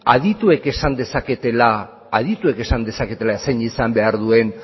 adituek esan dezaketela zein izan behar duen